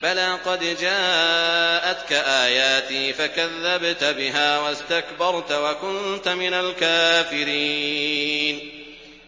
بَلَىٰ قَدْ جَاءَتْكَ آيَاتِي فَكَذَّبْتَ بِهَا وَاسْتَكْبَرْتَ وَكُنتَ مِنَ الْكَافِرِينَ